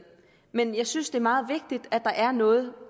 men jeg synes det er meget vigtigt at der er noget